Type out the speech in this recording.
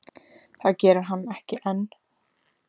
Það geri hann ekki enn.